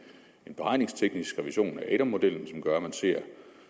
en beregningsteknisk revision af adam modellen som gør at man ser